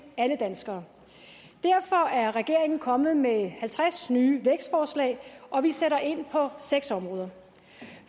alle danskere derfor er regeringen kommet med halvtreds nye vækstforslag og vi sætter ind på seks områder